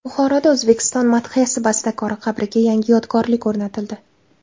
Buxoroda O‘zbekiston madhiyasi bastakori qabriga yangi yodgorlik o‘rnatildi.